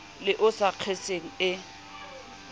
le o sa kgeseng e